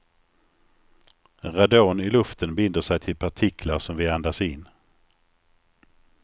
Radon i luften binder sig till partiklar som vi andas in.